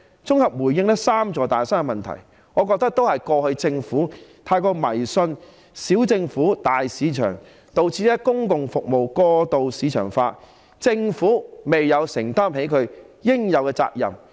綜合地回應"三座大山"的問題，我認為過去政府太過迷信"小政府，大市場"，導致公共服務過度市場化，政府未有承擔起應負的責任。